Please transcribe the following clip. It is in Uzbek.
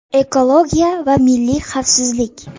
Ekologiya va milliy xavfsizlik.